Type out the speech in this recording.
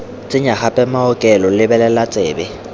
tsenya gape maokelo lebelela tsebe